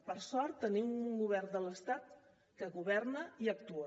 per sort tenim un govern de l’estat que governa i actua